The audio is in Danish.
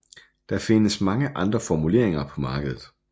Der findes mange andre formuleringer på markedet